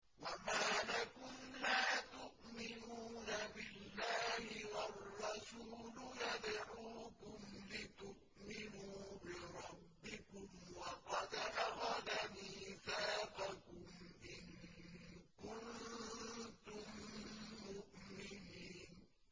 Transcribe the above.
وَمَا لَكُمْ لَا تُؤْمِنُونَ بِاللَّهِ ۙ وَالرَّسُولُ يَدْعُوكُمْ لِتُؤْمِنُوا بِرَبِّكُمْ وَقَدْ أَخَذَ مِيثَاقَكُمْ إِن كُنتُم مُّؤْمِنِينَ